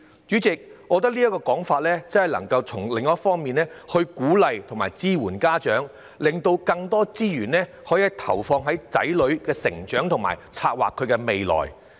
主席，我認為這建議可從另一方面支援家長，讓他們能把更多資源投放於子女成長，為子女策劃未來。